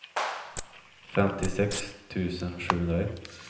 femtiosex tusen sjuhundraett